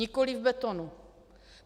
Nikoliv v betonu.